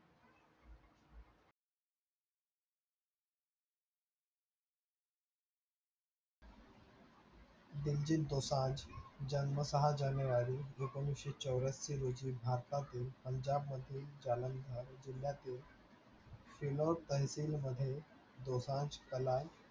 दिलजीत दोसांज जन्मतः जानेवारी एकोणीसशे चौऱ्याहत्तर रोजी भारतातील पंजाबमध्ये जिल्ह्यातील मध्ये दोसांज कलाल